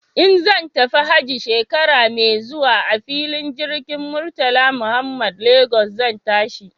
In zan tafi hajji shekara mai zuwa a filin jirgin Murtala Muhammad Lagos zan tashi.